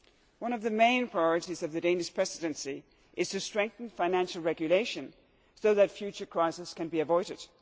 One of the main priorities of the Danish Presidency is to strengthen financial regulation so that future crises can be avoided.